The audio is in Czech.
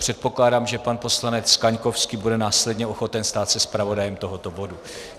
Předpokládám, že pan poslanec Kaňkovský bude následně ochoten stát se zpravodajem tohoto bodu.